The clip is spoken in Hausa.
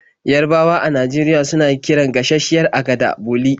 Yarabawa a Najeriya suna kiran gashasshiyar agada 'boli'.